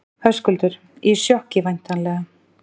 Höskuldur: Í sjokki væntanlega?